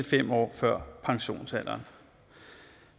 fem år før pensionsalderen